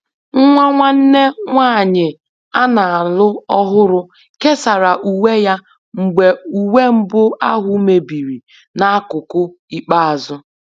Nwa nwanne nne nwanyị a na-alụ ọhụrụ kesara uwe ya mgbe uwe mbụ ahụ mebiri n'akụkụ ikpeazụ